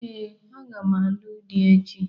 Ee, aga m alụ di echi.